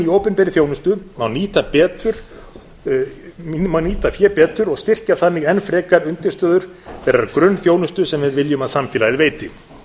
opinberri þjónustu má nýta fé betur og styrkja þannig enn frekar undirstöður þeirrar grunnþjónustu sem við viljum að samfélagið veiti